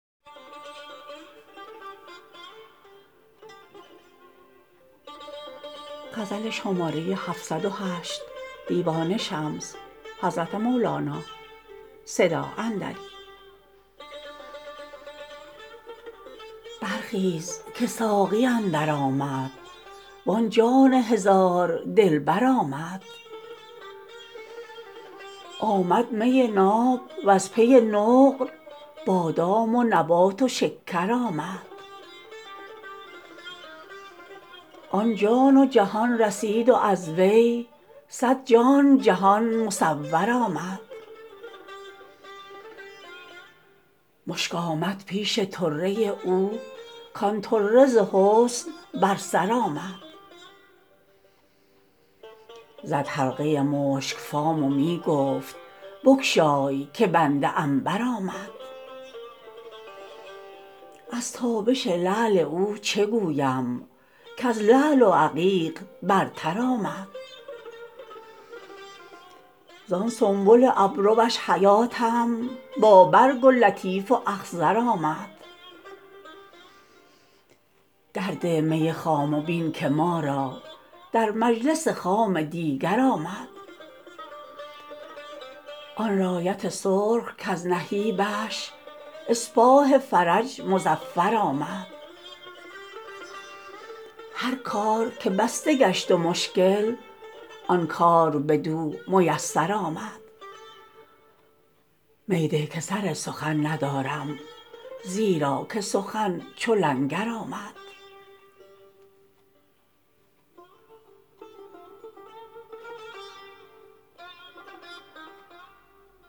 برخیز که ساقی اندر آمد وآن جان هزار دلبر آمد آمد می ناب وز پی نقل بادام و نبات و شکر آمد آن جان و جهان رسید و از وی صد جان جهان مصور آمد مشک آمد پیش طره او کآن طره ز حسن بر سر آمد زد حلقه مشک فام و می گفت بگشای که بنده عنبر آمد از تابش لعل او چه گویم کز لعل و عقیق برتر آمد زان سنبل ابروش حیاتم با برگ و لطیف و اخضر آمد در ده می خام و بین که ما را در مجلس خام دیگر آمد آن رایت سرخ کز نهیبش اسپاه فرج مظفر آمد هر کار که بسته گشت و مشکل آن کار بدو میسر آمد می ده که سر سخن ندارم زیرا که سخن چو لنگر آمد